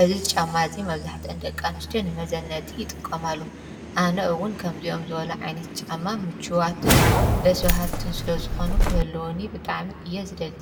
እዚ ጫማ እዚ መብዛሕተኤን ደቂ ኣንስትዮ ንመዘነጢ ይጥቀማሉ:: ኣነ እዉን ከምዚኦም ዝበሉ ዓይነት ጫማ ምቹዋትን ደስ ባሃልትን ስለዝኾኑ ክህሉዉኒ ብጣዕሚ እየ ዝደሊ::